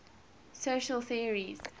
social theories